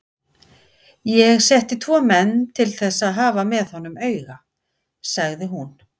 Ég setti tvo menn til þess að hafa með honum auga, sagði hún.